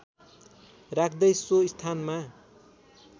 राख्दै सो स्थानमा